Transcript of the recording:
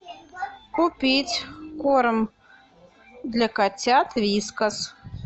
купить корм для котят вискас